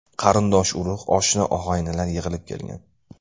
Qarindosh-urug‘, oshna-og‘aynilar yig‘ilib kelgan.